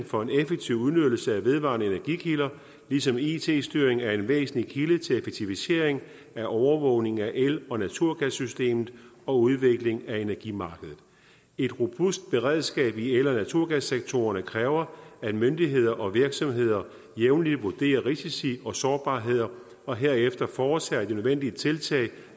for en effektiv udnyttelse af vedvarende energikilder ligesom it styring er en væsentlig kilde til effektivisering af overvågning af el og naturgassystemet og udvikling af energimarkedet et robust beredskab i el og naturgassektorerne kræver at myndigheder og virksomheder jævnligt vurderer risici og sårbarheder og herefter foretager de nødvendige tiltag